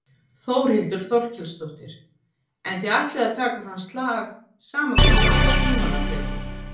Þórhildur Þorkelsdóttir: En þið ætlið að taka þann slag sama hversu langan tíma það tekur?